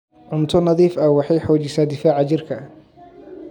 Cunto nadiif ah waxay xoojisaa difaaca jirka.